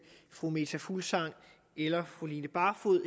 fru meta fuglsang eller fru line barfod